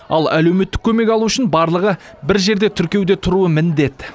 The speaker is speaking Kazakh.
ал әлеуметтік көмек алу үшін барлығы бір жерде тіркеуде тұруы міндет